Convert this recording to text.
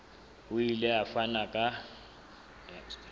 o ile a fana ka